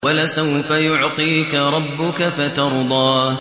وَلَسَوْفَ يُعْطِيكَ رَبُّكَ فَتَرْضَىٰ